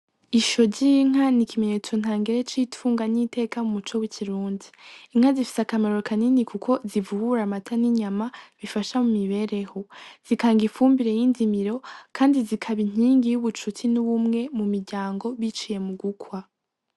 Isho z'inka n'ikimenyetso ntangere c'itunga n' iteka mu muco w'ikirundi, inka zifise akamaro kanini kuko zivubura amata n'inyama bifasha mu mibereho, zitanga umwavu y'indimiro kandi zikaba inkingi y'ubucuti n'ubumwe mu miryango biciye mugukwa.